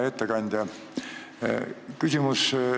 Hea ettekandja!